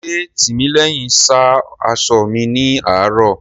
Ṣé Tìmílẹ́hìn sá aṣọ mi ní àárò?